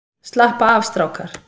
Slappa af strákar!